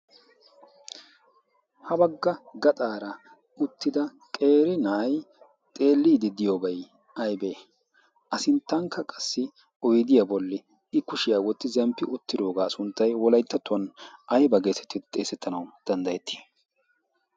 Ha bagga gaxaara uttida qeri na'aay xeliidi diyoobay aybee? A sinttankka qassi oydiyaa bolli i kushiyaa wotti zemppi uttidoogaa sunttay wolayttattuwan aybaa geesettid xeesettanawu danddayettii?